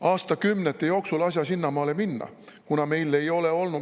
– aastakümnete jooksul asja sinnamaale minna, kuna meil ei ole olnud …